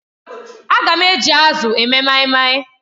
Aga m eji azụ eme maimai.